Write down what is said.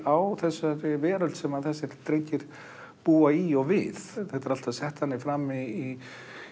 á þessari veröld sem þessir drengir búa í og við þetta er alltaf sett þannig fram í